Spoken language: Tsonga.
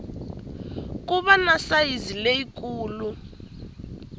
ku va na sayizi leyikulu